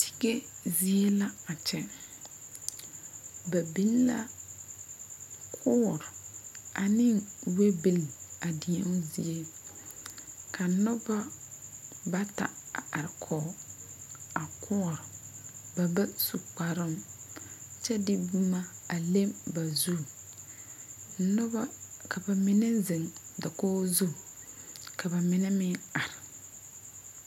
Tige zie la a kyɛ ba biŋ la koɔre ane wɛbeli deo zie ka noba bata a are kɔge a koɔre ba ba su kparoo kyɛ de boma a le ba zu noba ka ba mine zeŋ dakogi zu ka ba mine meŋ are.